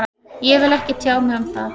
Ég vil ekki tjá mig um það